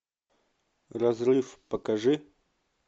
разрыв покажи